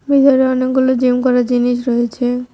ভিতরে অনেকগুলি জিম করার জিনিস রয়েছে।